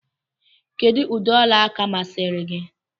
Kedụ ụdị ọla aka masịrị gị?